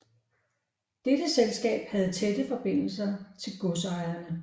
Dette selskab havde tætte forbindelser til godsejerne